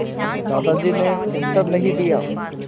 दादाजी ने उत्तर नहीं दिया